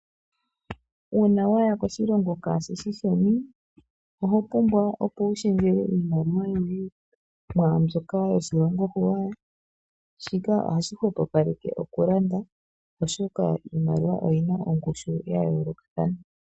Uuna waya koshilonga kaashisheni, ohopumbwa opo ushendje oimaliwa yoye mwaa mbyoka yoshilongo ghuuwaya, shika ohaahi ghupapaleke okulanda oshoka oimaliwa oina ongushu ya yoolokathana.